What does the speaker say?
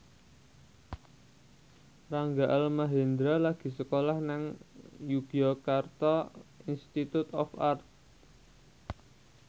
Rangga Almahendra lagi sekolah nang Yogyakarta Institute of Art